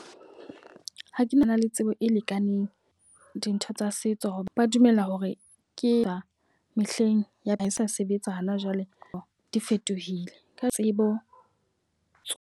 Ha ke na le tsebo e lekaneng dintho tsa setso. Ba dumela hore ke ya mehleng ya ka e sa sebetsa hana jwale di fetohile ka tsebo.